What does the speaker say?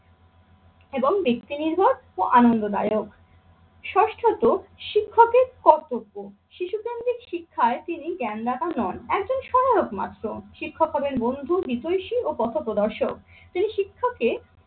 এবং ব্যক্তি নির্ভর ও আনন্দদায়ক। ষষ্ঠত শিক্ষকের কর্তব্য শিশু কেন্দ্রিক শিক্ষায় তিনি জ্ঞানদাতা নন, একজন সহলোক মাত্র। শিক্ষক হবেন বন্ধু, বিতৈশী ও পথপ্রদর্শক। তিনি শিক্ষককে